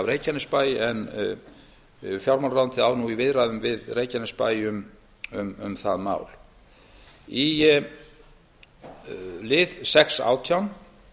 af reykjanesbæ en fjármálaráðuneytið á nú í viðræðum við reykjanesbæ um það mál í lið sex átján